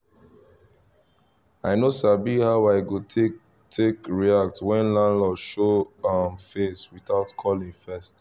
i no sabi how i go take take react when landlord show um face without calling first